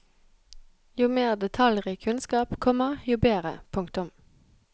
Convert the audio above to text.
Jo mer detaljrik kunnskap, komma jo bedre. punktum